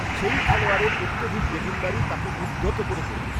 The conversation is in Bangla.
সেই খেলোয়াড়ের অত্যধিক দেখনদারি তাঁকে উদ্ধত করে তোলে।